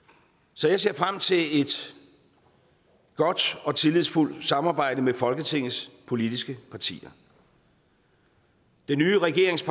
så jeg ser frem til et godt og tillidsfuldt samarbejde med folketingets politiske partier den nye regerings